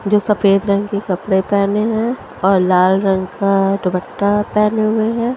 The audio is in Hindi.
जो सफ़ेद रंग के कपडे पहने है और लाल रंग का दुपट्टा पहने हुए है ।